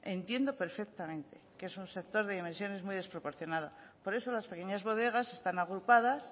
entiendo perfectamente que es un sector de dimensiones muy desproporcionado por eso las pequeñas bodegas están agrupadas